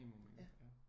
Minimum